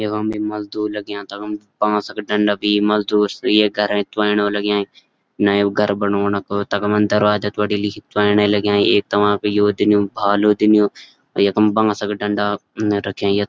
यखम भी मजदूर लग्यां तखम बांसक डंडा बि मजदूर ये घरैए त्वंणन लग्यां नयू घर बणौणक तखमक दरवाजा त्वणिलि त्वणन लग्यां ऐक तम्मा यो दिन्यु भालू दिन्यू यखम बांसक डंडा रख्यां यख --